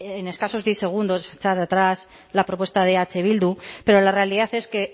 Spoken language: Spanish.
en escasos diez segundos echar atrás la propuesta de eh bildu pero la realidad es que